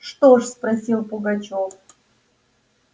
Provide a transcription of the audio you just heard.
что ж спросил пугачёв